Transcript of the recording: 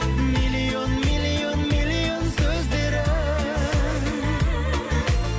миллион миллион миллион сөздері